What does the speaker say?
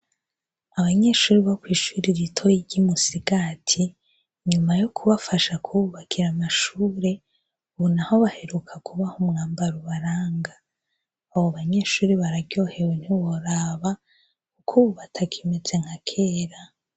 abanyeshuri bo kwishuri ritoyi ry'umusigati nyuma yo kubafasha kububakira amashure ubu naho baheruka kubaho umwambaro ubaranga abo banyeshuri bararyohewe ntiworaba kubu batakimeze nka kera